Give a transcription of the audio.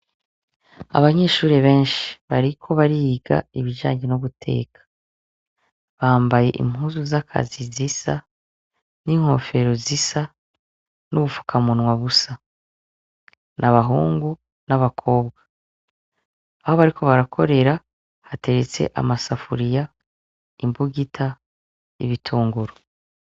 Abanyeshure benshi , bariko bariga ibijanye no guteka. Bambaye impuzu zakazi zisa, n'inkofero zisa, n'ubufuka munwa busa. N'abahungu n'abakobwa. Aho bariko barakorera hateretse amasafuriya , imbugita, n'ibitunguru.